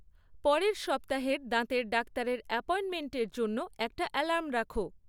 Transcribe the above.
পরের সপ্তাহের দাঁতের ডাক্তারের অ্যাপয়েন্টমেন্টের জন্য একটা অ্যালার্ম রাখো